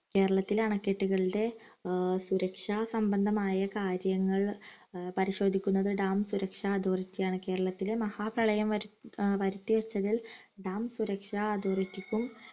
കേരളത്തിലെ അണക്കെട്ടുകളുടെ ഏർ സുരക്ഷാ സംബന്ധമായ കാര്യങ്ങൾ ഏർ പരിശോധിക്കുന്നത് dam സുരക്ഷാ authority യാണ് കേരളത്തിൽ മഹാ പ്രളയം വരു ഏർ വരുത്തി വച്ചതിൽ dam സുരക്ഷാ authority ക്കും